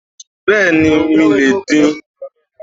Bẹ́ẹ̀ni mi le è din